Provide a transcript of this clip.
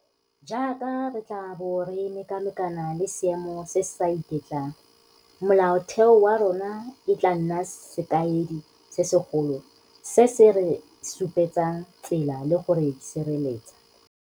Jaaka re tla bo re mekamekana le seemo se se sa iketlang, Molaotheo wa rona e tla nna sekaedi se segolo se se re supetsang tsela le go re sireletsa.